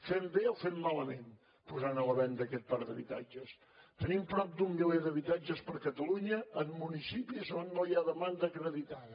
fem bé o fem malament posant a la venda aquest parc d’habitatges tenim prop d’un miler d’habitatges per catalunya en municipis on no hi ha demanda acreditada